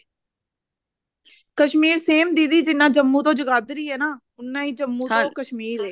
Kashmir same ਦੀਦੀ ਜਿੰਨਾ ਜੰਮੂ ਤੋਂ ਜਗਾਧਰੀ ਆ ਨਾ ਉੰਨਾ ਹੀ ਜੰਮੂ ਤੋਂ ਕਸ਼ਮੀਰ ਹੈ